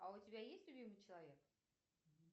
а у тебя есть любимый человек